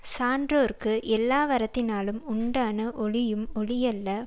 சான்றோர்க்கு எல்லாவறத்தினாலும் உண்டான ஒளியும் ஒளியல்ல